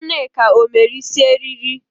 Nneka o mere isi eriri?